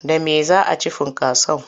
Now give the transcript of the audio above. Da me za a ci funkason?